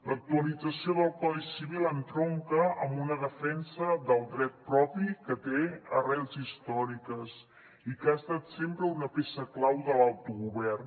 l’actualització del codi civil entronca amb una defensa del dret propi que té arrels històriques i que ha estat sempre una peça clau de l’autogovern